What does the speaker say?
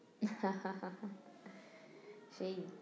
সেই